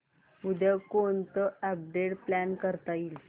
उद्या कोणतं update plan करता येईल